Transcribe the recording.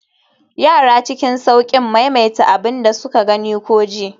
yara cikin sauƙin maimaita abin da suka gani ko ji